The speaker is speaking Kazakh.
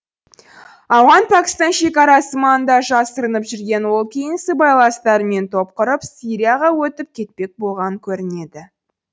ауған пәкістан шекарасы маңында жасырынып жүрген ол кейін сыбайластарымен топ құрып сирияға өтіп кетпек болған көрінеді